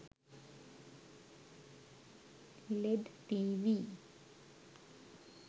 led tv